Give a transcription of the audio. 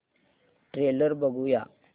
trailer बघूया